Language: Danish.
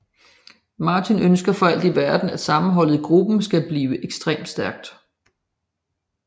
Martin ønsker for alt i verden at sammenholdet i gruppen skal blive ekstremt stærkt